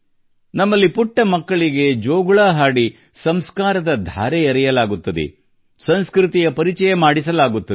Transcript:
ನಮ್ಮಲ್ಲಿ ಪುಟ್ಟ ಮಕ್ಕಳಿಗೆ ಜೋಗುಳ ಹಾಡಿ ಸಂಸ್ಕಾರದ ಧಾರೆ ಎರೆಯಲಾಗುತ್ತದೆ ಸಂಸ್ಕೃತಿಯ ಪರಿಚಯ ಮಾಡಿಸಲಾಗುತ್ತದೆ